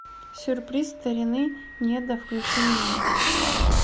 сюрприз старины неда включи мне